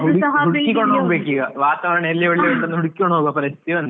ವಾತಾವರಣ ಎಲ್ಲಿ ಒಳ್ಳೆ ಉಂಟು ಅಂತ ಹುಡ್ಕಿಕೊಂಡು ಹೋಗ್ಬೇಕು ಪರಿಸ್ಥಿತಿ ಬಂದಿದೆ.